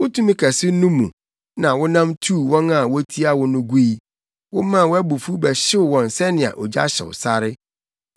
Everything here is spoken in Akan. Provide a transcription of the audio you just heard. “Wo tumi kɛse no mu na wonam tuu wɔn a wotia wo no gui. Womaa wʼabufuw bɛhyew wɔn sɛnea ogya hyew sare.